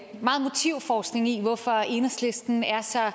meget motivforskning i hvorfor enhedslisten er så